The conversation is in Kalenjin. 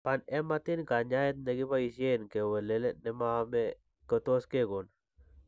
Panhematin, kanyaayet nekibaysen kowelel ne maame heme, kotos kekon.